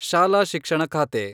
ಶಾಲಾ ಶಿಕ್ಷಣ ಖಾತೆ